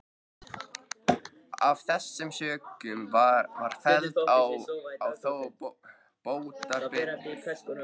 Af þessum sökum var felld á þá bótaábyrgð.